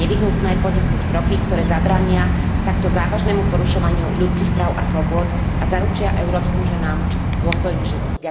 Je nevyhnutné podniknúť kroky, ktoré zabránia takto závažnému porušovaniu ľudských práv a slobôd a zaručia európskym ženám dôstojný život.